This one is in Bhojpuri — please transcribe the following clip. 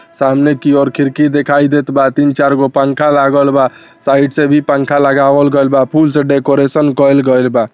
सामने की ओर खिड़की दिखाई देत बा तीन-चार गो पंखा लागल बा साइड से भी पंखा लगावल गइल बा फूल से डेकोरेशन कइल गइल बा।